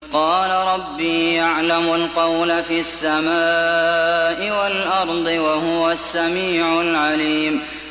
قَالَ رَبِّي يَعْلَمُ الْقَوْلَ فِي السَّمَاءِ وَالْأَرْضِ ۖ وَهُوَ السَّمِيعُ الْعَلِيمُ